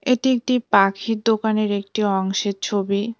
এটি একটি পাখির দোকানের একটি অংশের ছবি।